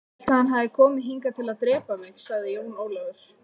Ég hélt að hann hefði komið hingað til að drepa mig, sagði Jón Ólafur.